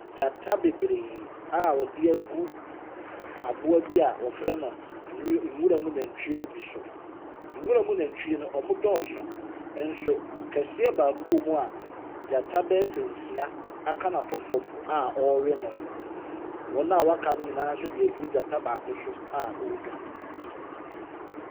Gyata bebree a wɔde agu aboa bi a wɔfrɛ no nwuram nantwie no bi so. Nwuram nantwie no dɔɔso, nanso kɛseɛ baako a ɔwɔ mu a gyata bɛyɛ sɛ nsia aka no ato fam a ɔrewe no. Wɔn a wɔaka no nso de agu gyata baako so a ɔredwane.